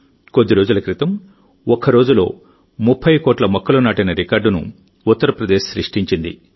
కొద్ది రోజుల క్రితం ఒక్కరోజులో 30 కోట్ల మొక్కలు నాటిన రికార్డును ఉత్తరప్రదేశ్ సృష్టించింది